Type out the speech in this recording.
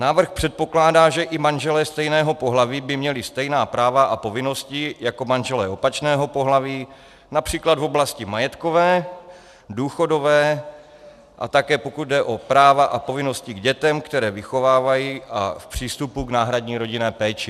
Návrh předpokládá, že i manželé stejného pohlaví by měli stejná práva a povinnosti jako manželé opačného pohlaví, například v oblasti majetkové, důchodové a také, pokud jde o práva a povinnosti k dětem, které vychovávají, a v přístupu k náhradní rodinné péči.